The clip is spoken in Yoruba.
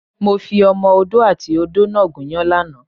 Mo fi Ọmọ Odó àti ìyá odó náà gúnyán lánàá.